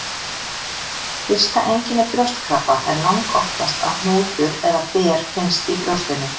Fyrsta einkenni brjóstkrabba er langoftast að hnútur eða ber finnst í brjóstinu.